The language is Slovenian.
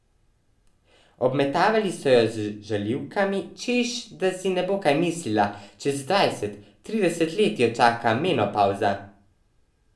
Obmetavali so jo z žaljivkami, češ da si ne bo kaj mislila, čez dvajset, trideset let jo čaka menopavza.